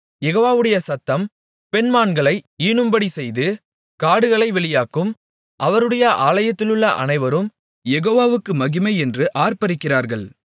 யெகோவாவுடைய சத்தம் பெண்மான்களை ஈனும்படி செய்து காடுகளை வெளியாக்கும் அவருடைய ஆலயத்திலுள்ள அனைவரும் யெகோவாவுக்கு மகிமை என்று ஆர்ப்பரிக்கிறார்கள்